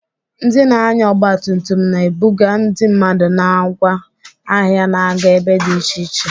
Ndị na-anya ọgba tum tum na-ebuga ndị mmadụ na ngwa ahịa na-aga ebe dị iche iche.